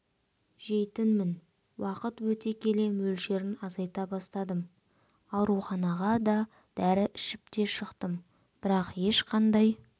жейтінмін уақыт өте келе мөлшерін азайта бастадым ауруханаға да дәрі ішіп те шықтым бірақ ешқандай